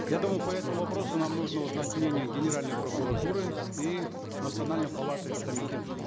я думаю по этому вопросу нам нужно узнать мнение генеральной прокуратуры и национальной палаты атамекен